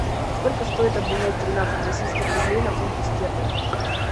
сколько стоит обменять тринадцать российских рублей на фунты стерлинги